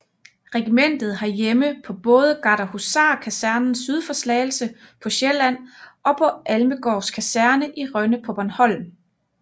Regimentet har hjemme på både Gardehusarkasernen syd for Slagelse på Sjælland og på Almegårds Kaserne i Rønne på Bornholm